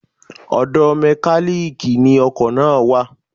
Ọ̀dọ̀ Mẹ́kálíkì ni ọkọ̀ náà wà.